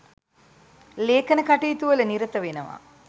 ලේඛන කටයුතුවල නිරත වෙනවා